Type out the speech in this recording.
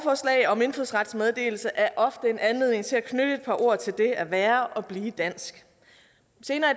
om indfødsrets meddelelse er ofte en anledning til at knytte et par ord til det at være og blive dansk senere i